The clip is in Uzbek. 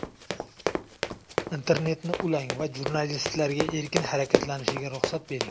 Internetni ulang va jurnalistlarga erkin harakatlanishiga ruxsat bering.